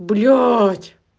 блять